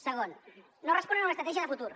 segon no responen a una estratègia de futur